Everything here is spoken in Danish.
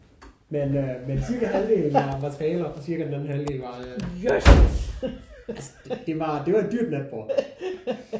Men øh men cirka var materialer og cirka den anden halvdel var øh